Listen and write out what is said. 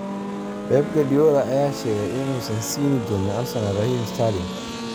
Pep Guardiola ayaa sheegay inuusan siin doonin Arsenal Raheem Sterling